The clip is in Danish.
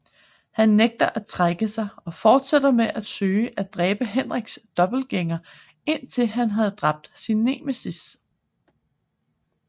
Han nægter at trække sig og fortsætter med at søge at dræbe Henriks dobbeltgængere indtil han havde dræbt sin nemesis